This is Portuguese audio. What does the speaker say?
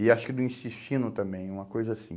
E acho que do intestino também, uma coisa assim.